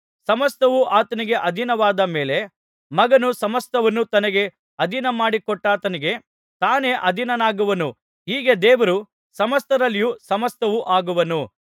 ಸಮಸ್ತವೂ ಆತನಿಗೆ ಅಧೀನವಾದ ಮೇಲೆ ಮಗನು ಸಮಸ್ತವನ್ನೂ ತನಗೆ ಅಧೀನಮಾಡಿ ಕೊಟ್ಟಾತನಿಗೆ ತಾನೇ ಅಧೀನನಾಗುವನು ಹೀಗೆ ದೇವರು ಸಮಸ್ತರಲ್ಲಿಯೂ ಸಮಸ್ತವೂ ಆಗುವನು